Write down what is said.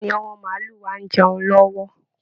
Bẹ́ẹ̀ ni, àwọn màálù wa ń jẹun lọ́wọ́